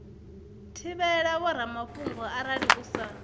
thivhela vhoramafhungo arali u sa